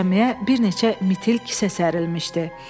Döşəməyə bir neçə mitil kisə sərilmişdi.